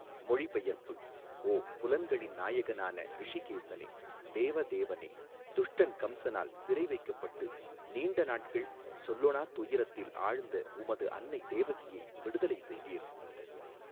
மொழிபெயர்ப்பு ஓ புலன்களின் நாயகனான ரிஷிகேஸனே தேவ தேவனே துஷ்டன் கம்சனால் சிறை வைக்கப்பட்டு நீண்ட நாட்கள் சொல்லொணா துயரத்தில் ஆழ்ந்த உமது அன்னை தேவகியை விடுதலை செய்தீர்.